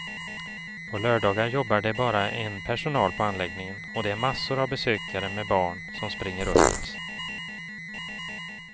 På lördagar jobbar det bara en personal på anläggningen och det är massor av besökare med barn som springer runt.